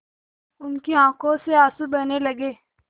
उसकी आँखों से आँसू बहने लगे